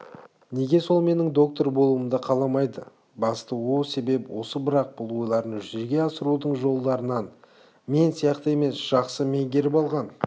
неге сол менің доктор болуымды қаламайды басты о себеп осы бірақ бұл ойларын жүзеге асырудың жолдарын мен сияқты емес жақсы меңгеріп алған